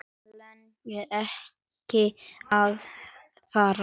Mig langaði ekki að fara.